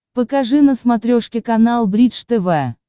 покажи на смотрешке канал бридж тв